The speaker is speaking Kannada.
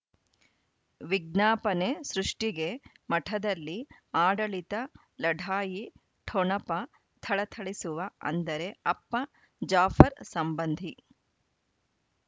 ವಿಜ್ಞಾಪನೆ ಸೃಷ್ಟಿಗೆ ಮಠದಲ್ಲಿ ಆಡಳಿತ ಲಢಾಯಿ ಠೊಣಪ ಥಳಥಳಿಸುವ ಅಂದರೆ ಅಪ್ಪ ಜಾಫರ್ ಸಂಬಂಧಿ